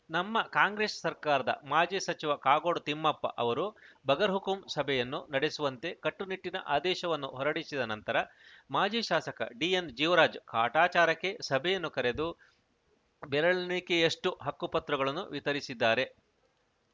ನಮ್ಮ ಕಾಂಗ್ರೆಸ್‌ ಸರ್ಕಾರದ ಮಾಜಿ ಸಚಿವ ಕಾಗೋಡು ತಿಮ್ಮಪ್ಪ ಅವರು ಬಗರ್‌ಹುಕುಂ ಸಭೆಯನ್ನು ನಡೆಸುವಂತೆ ಕಟ್ಟುನಿಟ್ಟಿನ ಆದೇಶವನ್ನು ಹೊರಡಿಸಿದ ನಂತರ ಮಾಜಿ ಶಾಸಕ ಡಿಎನ್‌ ಜೀವರಾಜ್‌ ಕಾಟಾಚಾರಕ್ಕೆ ಸಭೆಯನ್ನು ಕರೆದು ಬೆರಳೆಣಿಕೆಯಷ್ಟುಹಕ್ಕುಪತ್ರಗಳನ್ನು ವಿತರಿಸಿದ್ದಾರೆ